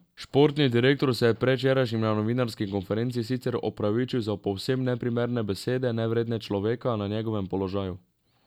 Športni direktor se je predvčerajšnjim na novinarski konferenci sicer opravičil za povsem neprimerne besede, nevredne človeka na njegovem položaju.